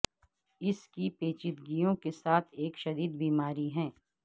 اس کی پیچیدگیوں کے ساتھ ایک شدید بیماری ہے